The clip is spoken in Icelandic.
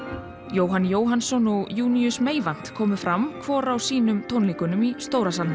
Jóhann Jóhannsson og Meyvant komu fram hvor á sínum tónleikum í stóra salnum